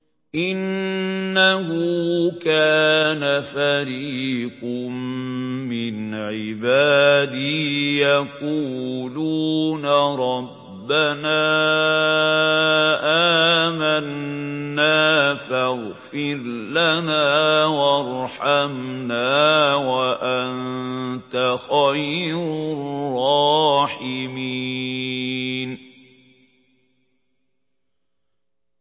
إِنَّهُ كَانَ فَرِيقٌ مِّنْ عِبَادِي يَقُولُونَ رَبَّنَا آمَنَّا فَاغْفِرْ لَنَا وَارْحَمْنَا وَأَنتَ خَيْرُ الرَّاحِمِينَ